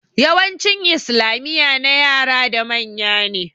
Yawancin islamiya na yara da manya ne